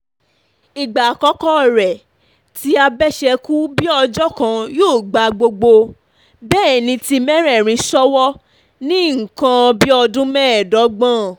ìgbà àkọ́kọ́ rèé tí abẹ́ṣẹ́kù-bí-ọjọ́ kan yóò gba gbogbo bẹ́nìítì mẹ́rẹ̀ẹ̀rin ṣòwò ní nǹkan bí ọdún mẹ́ẹ̀dọ́gbọ̀n